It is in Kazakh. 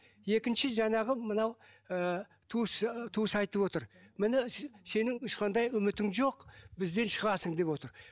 екінші жаңағы мынау ы туысы туысы айтып отыр міне сенің ешқандай үмітің жоқ бізден шығасың деп отыр